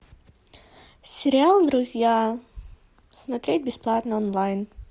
сериал друзья смотреть бесплатно онлайн